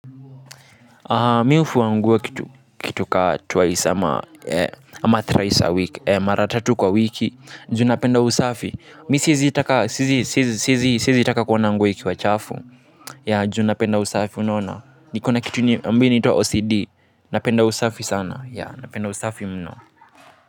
Mimi hufua nguo kitu kitu kaa twice ama ee ama thrice a wiki ee mara tatu kwa wiki juu napenda usafi mimi siwezi taka sizi sizi siesi taka kuona nguo ikiwa chafu yeah juu napenda usafi unaona nikona kitu ni mbini ito wa ocd napenda usafi sana yeah napenda usafi mno.